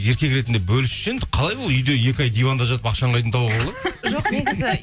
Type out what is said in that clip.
еркек ретінді бөлісші енді қалай ол үйде екі ай диванда жатып ақшаны қайдан табуға болады